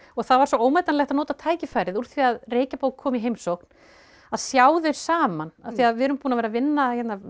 það var svo ómetanlegt að nota tækifærið úr því að kom í heimsókn að sjá þau saman af því að við erum búin að vera að vinna